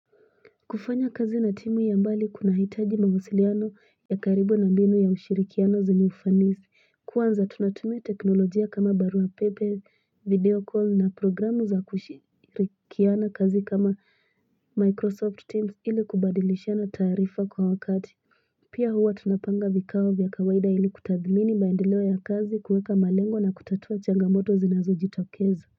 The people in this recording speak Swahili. Kufanya kazi na timu ya mbali kunahitaji mawasiliano ya karibu na mbinu ya ushirikiano zenye ufanisi. Kwanza tunatumia teknolojia kama barua pepe, video call na programu za kushirikiana kazi kama Microsoft Teams ili kubadilishiana taarifa kuhakati. Pia huwa tunapanga vikao vya kawaida ili kutadhmini maendeleo ya kazi, kuweka malengo na kutatua changamoto zinazojitokeza.